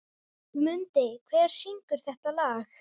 Mundi, hver syngur þetta lag?